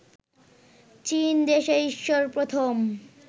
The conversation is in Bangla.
চীন দেশে ঈশ্বর প্রথম